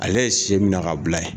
Ale ye sɛ si minɛ ka bila ye.